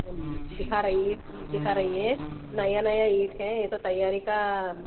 दिखा रही है दिखा रही है नया नया ईंट का है ये तो तैयारी का--